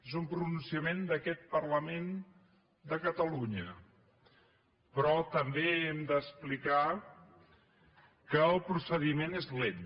és un pronunciament d’aquest parlament de catalunya però també hem d’explicar que el procediment és lent